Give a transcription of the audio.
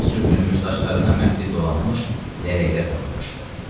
Gil sürtülmüş saçlarına məftil dolanmış lələklər taxılmışdı.